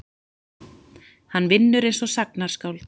Hann vinnur einsog sagnaskáld.